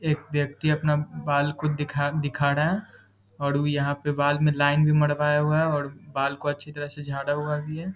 एक व्यक्ति अपना बाल को दिखा रहा है और यहाँ पे बाल में लाइन भी मरवाया हुआ है और बाल को अच्छे तरीके से झारा हुआ भी है ।